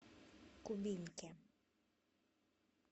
кубинке